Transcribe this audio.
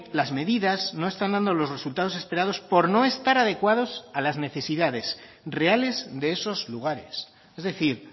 las medidas no están dando los resultados esperados por no estar adecuados a las necesidades reales de esos lugares es decir